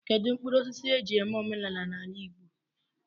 Kedụ mkpụrụosisi e ji eme omenala n'ala Igbo?